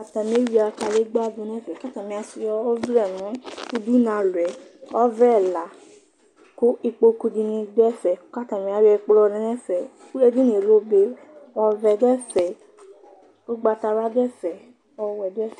Atan eyʋia kadegbǝ dʋ nʋ ɛfɛ Kʋ atani asʋɩa ɔvlɛ nʋ udunu alɔ yɛ, ɔvlɛ ɛla; kʋ ikpokʋ dɩnɩ dʋ ɛfɛ, kʋ atani ayɔ ɛkplɔ lɛ nʋ ɛfɛ Ɛkʋ ɔvɛ dʋ ɛfɛ, ugbatawla dʋ ɛfɛ, ɔwɛ dʋ ɛfɛ